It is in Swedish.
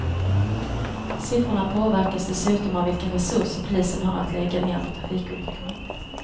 Siffrorna påverkas dessutom av vilka resurser polisen har att lägga ner på trafikolyckorna.